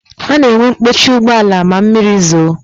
A na-enwe mkpọchi ụgbọala ma mmiri zoo